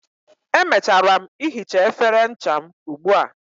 Emechara m ihicha efere ncha m ugbua